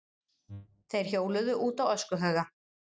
Þeir hjóluðu út á öskuhauga.